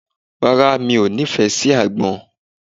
Rárá, mi ò nífẹ̀ẹ́ sí àgbọn.